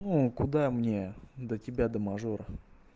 ну куда мне до тебя до мажора